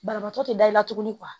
Banabaatɔ te da i la tugun